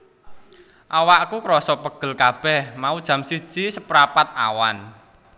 Awakku kroso pegel kabeh mau jam siji seprapat awan